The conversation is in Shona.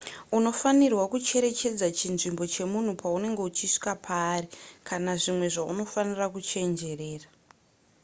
unofanirwa kucherechedza chinzvimbo chemunhu paunenge uchisvika paari kana zvimwe zvaunofanira kuchenjerera